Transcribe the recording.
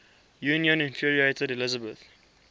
union infuriated elizabeth